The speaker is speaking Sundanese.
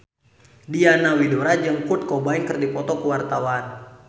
Diana Widoera jeung Kurt Cobain keur dipoto ku wartawan